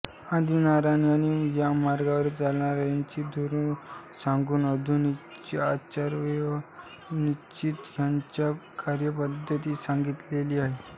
आदिनारायणांनी या मार्गावर चालणारांची दुर्लभता सांगून अवधूताचे आचरणव्यवहार चिंतनमनन यांची कार्यपद्धती सांगितलेली आहे